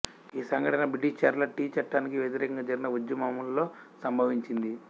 ఈ సంఘటన బ్రిటీషర్ల టీ చట్టానికి వ్యతిరేకంగా జరిగిన ఉద్యమములో సంభవించింది